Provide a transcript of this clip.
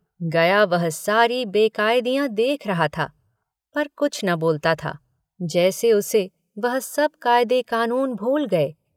गया वह सारी बेकायदियाँ देख रहा था पर कुछ न बोलता था जैसे उसे वह सब कायदे कानून भूल गए।